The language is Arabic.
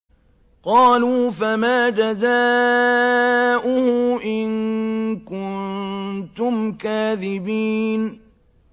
قَالُوا فَمَا جَزَاؤُهُ إِن كُنتُمْ كَاذِبِينَ